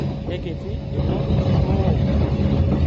Kekiti ilo too.